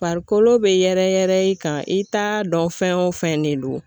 Farikolo be yɛrɛ yɛrɛ i kan i t'a dɔn fɛn o fɛn de don